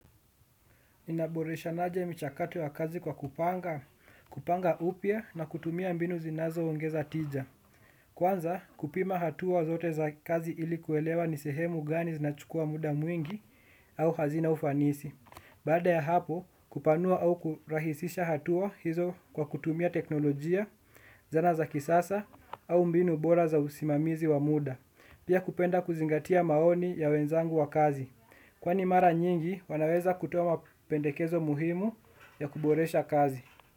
Inaboresha naje michakato ya kazi kwa kupanga, kupanga upia na kutumia mbinu zinazo ongeza tija. Kwanza kupima hatua zote za kazi ilikuelewa nisehemu gani zinachukua muda mwingi au hazina ufanisi. Baada ya hapo kupanua au kurahisisha hatua hizo kwa kutumia teknolojia, zana za kisasa au mbinu bora za usimamizi wa muda. Pia kupenda kuzingatia maoni ya wenzangu wa kazi. Kwani mara nyingi wanaweza kutoa ma pendekezo muhimu ya kuboresha kazi.